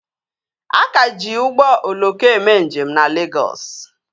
A ka ji ụgbọ oloko eme njem na Legọs